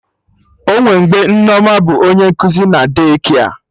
Onwe mgbe Nneoma bụ onye nkuzi na De-kia